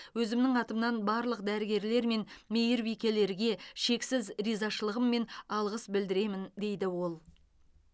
өзімнің атымнан барлық дәрігерлер мен мейірбекелерге шексіз ризашылығым мен алғыс білдіремін дейді ол